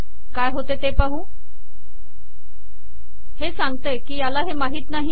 काय होते ते पाहू हे सांगते की याला हे माहीत नाही